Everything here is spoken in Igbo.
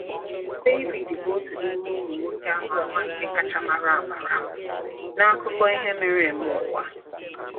David bụ otu n’ime ụmụ nwoke ama ama nke kacha mara amara n’akụkọ ihe mere eme ụwa.